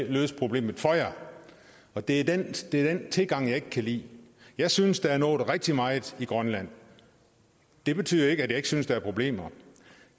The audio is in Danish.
vi løse problemet for jer og det er den tilgang jeg ikke kan lide jeg synes der er nået rigtig meget i grønland det betyder ikke at jeg ikke synes der er problemer